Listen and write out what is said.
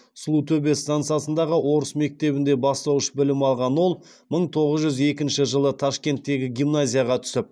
сұлутөбе стансасындағы орыс мектебінде бастауыш білім алған ол мың тоғыз жүз екінші жылы ташкенттегі гимназияға түсіп